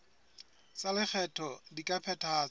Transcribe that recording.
tsa lekgetho di ka phethahatswa